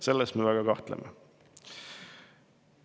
Selles me väga kahtleme.